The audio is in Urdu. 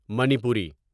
منیپوری